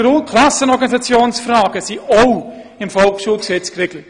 Auch Klassenorganisationsfragen sind im Volksschulgesetz geregelt.